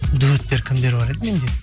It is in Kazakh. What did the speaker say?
дуэттер кімдер бар еді менде